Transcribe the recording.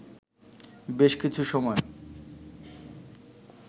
বেশ কিছু সময়